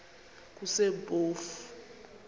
kusempofu